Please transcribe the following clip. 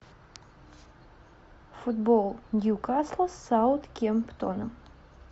футбол ньюкасла с саутгемптоном